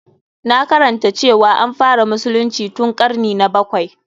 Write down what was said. Na karanta cewa an fara musulunci tun ƙarni na bakwai.